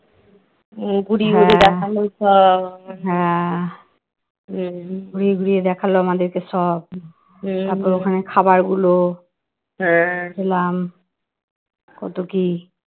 ঘুরিয়ে ঘুরিয়ে দেখালো আমাদেরকে সব তারপরে ওখানে খাবার গুলো খেলাম কত কি